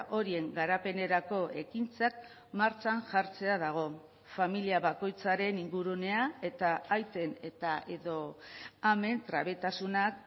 horien garapenerako ekintzak martxan jartzea dago familia bakoitzaren ingurunea eta aiten eta edo amen trebetasunak